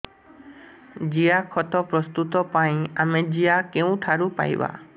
ଜିଆଖତ ପ୍ରସ୍ତୁତ ପାଇଁ ଆମେ ଜିଆ କେଉଁଠାରୁ ପାଈବା